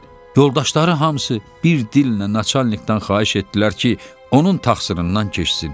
Yoldaşları hamısı bir dillə naçalnikdən xahiş etdilər ki, onun təqsirindən keçsin.